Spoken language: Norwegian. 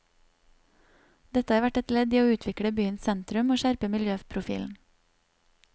Dette har vært et ledd i å utvikle byens sentrum og skjerpe miljøprofilen.